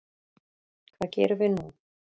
Hvað gerum við nú